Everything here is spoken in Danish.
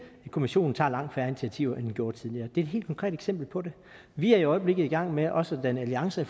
at kommissionen tager langt færre initiativer end den gjorde tidligere det er et helt konkret eksempel på det vi er i øjeblikket i gang med også at danne alliancer